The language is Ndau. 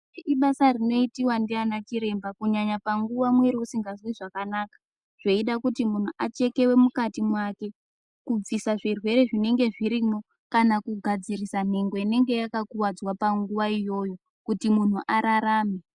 Ibasa rinoitiwa ndiana chiremba kunyanya panguwa mwiri usingazwi zvakanaka zveida kuti munhu achekewe mukati mwake kubvisa zvirwere zvinenge zvirimwo kana kugadzirisa nhengo inenge yakakuwadzwa panguwa iyoyo kuti munhu ararame.